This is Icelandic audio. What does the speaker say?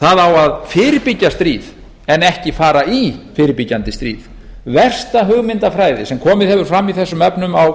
það á að fyrirbyggja stríð en ekki fara í fyrirbyggjandi stríð versta hugmyndafræði sem komið hefur fram í þessum efnum á